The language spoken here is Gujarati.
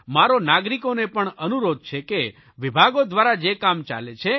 મારો નાગરિકોને પણ અનુરોધ છે કે વિભાગો દ્વારા જે કામ ચાલે છે